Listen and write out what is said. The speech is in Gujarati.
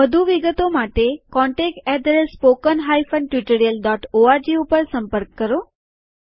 વધુ વિગતો માટે contactspoken tutorialorg ઉપર સંપર્ક કરો